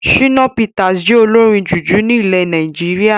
Shina Peters jẹ olórin jùjú ní ilẹ̀ Nàìjíríà